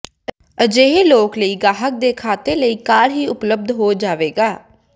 ਅਜਿਹੇ ਲੋਕ ਲਈ ਗਾਹਕ ਦੇ ਖਾਤੇ ਲਈ ਕਾਲ ਹੀ ਉਪਲੱਬਧ ਹੋ ਜਾਵੇਗਾ